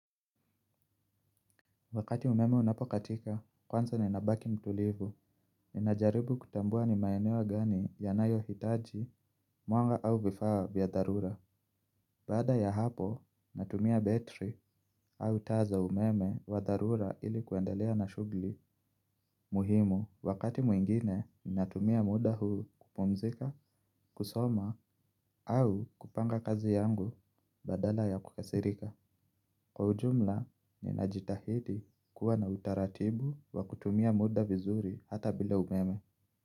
Wakati umeme unapokatika, kwanza ninabaki mtulivu. Ninajaribu kutambua ni maeneo gani yanayohitaji, mwanga au vifaa vya dharura. Baada ya hapo, natumia betri au taa za umeme wa dharura ili kuendelea na shughuli muhimu. Wakati mwingine, natumia muda huu kupumzika, kusoma au kupanga kazi yangu badala ya kukasirika. Kwa ujumla, ninajitahidi kuwa na utaratibu wa kutumia muda vizuri hata bila umeme.